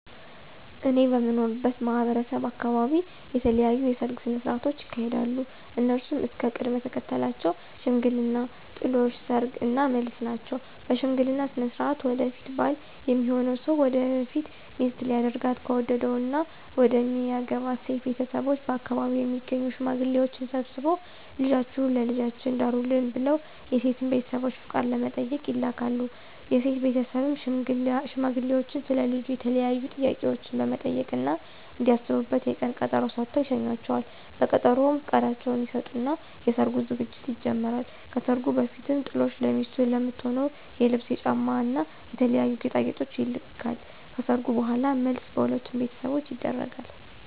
እኔ በምኖርበት ማህበረሰብ አካበቢ የተለያዩ የሰርግ ስነ ሥርዓቶች ይካሄዳሉ። እነሱም እስከ ቅደም ተከተላቸው ሽምግልና፣ ጥሎሽ፣ ሰርግ እና መልስ ናቸው። በሽምግልና ስነ ሥርዓት ወደፊት ባል ሚሆነው ሰው ወደፊት ሚስቱ ሊያደርጋት ከወደደው እና መደሚያገባት ሴት ቤተሰቦች በአከባቢው የሚገኙ ሽማግሌዎችን ሰብስቦ ልጃችሁን ለልጃችን ዳሩልን ብለው የሴትን ቤተሰቦች ፍቃድ ለመጠየቅ ይልካል። የሴት ቤተሰብም ሽማግሌዎቹን ስለ ልጁ የተለያዩ ጥያቄዎችን በመጠየቅ እና እንዲያስቡበት የቀን ቀጠሮ ሰጥተው ይሸኟቸዋል። በቀጠሮውም ፍቃዳቸውን ይሰጡና የሰርጉ ዝግጅት ይጀመራል። ከሰርጉ በፊትም ጥሎሽ ለሚስቱ ለምትሆነው የልብስ፣ የጫማ እና የተለያዩ ጌጣጌጦች ይልካል። ከሰርጉ በኋላም መልስ በሁለቱም ቤተሰቦች ይደረጋል።